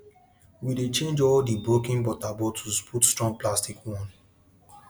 we dey change all di broken water bottles put strong plastic one